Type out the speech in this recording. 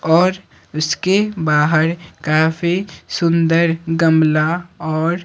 औरउसके बाहर काफी सुंदरगमला और--